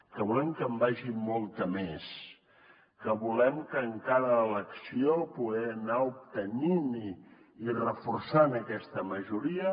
que volem que hi vagi molta més que volem en cada elecció poder anar obtenint i reforçant aquesta majoria